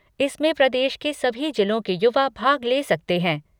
इसमें प्रदेश के सभी जिलों के युवा भाग ले सकते हैं।